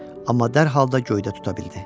Amma dəqiq də göydə tuta bildi.